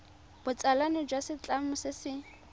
botsalano jwa setlamo se se